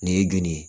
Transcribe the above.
Nin ye joli ye